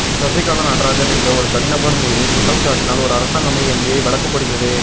சசிகலா நடராஜன் என்ற ஒரு தனிநபர் மீது குற்றம்சாட்டினால் ஒரு அரசாங்கமே என் மீது வழக்கு போடுகிறது